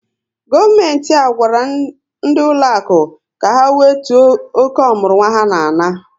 Gọọmenti a gwara ndị ụlọakụ ka ha wetuo oke ọmụrụnwa ha na-ana